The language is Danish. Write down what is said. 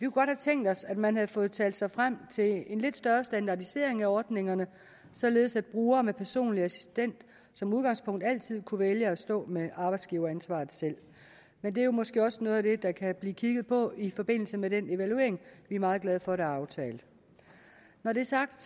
godt have tænkt os at man havde fået talt sig frem til en lidt større standardisering af ordningerne således at brugere med personlig assistent som udgangspunkt altid kunne vælge at stå med arbejdsgiveransvaret selv men det er måske også noget af det der kan blive kigget på i forbindelse med den evaluering vi er meget glade for der er aftalt når det er sagt